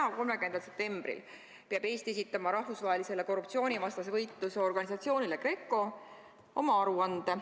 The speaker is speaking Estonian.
Täna, 30. septembril peab Eesti esitama rahvusvahelisele korruptsioonivastase võitluse organisatsioonile GRECO oma aruande.